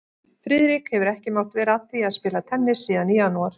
Friðrik hefur ekki mátt vera að því að spila tennis síðan í janúar